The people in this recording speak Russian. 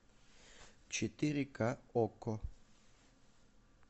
четыре ка окко